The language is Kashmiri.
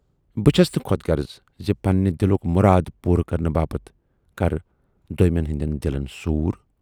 بہٕ چھَس نہٕ خۅدغرٕض زِ پننہِ دِلُک مُراد پوٗرٕ کرنہٕ باپتھ کرٕ دویمٮ۪ن ہٕندٮ۪ن دِلن سوٗر۔